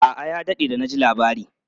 A'a, ya daɗe da na ji labari.